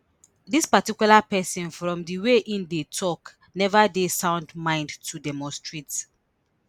dis particular pesin from di way im dey tok neva dey sound mind to demonstrate